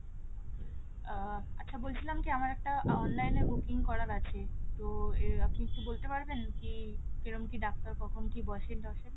আহ আচ্ছা বলছিলাম কি আমার একটা online booking করার আছে, তো আপনি বলতে পারবেন কি রকম কী ডাক্তার বসেন খোকন কী বসেন টসেন ?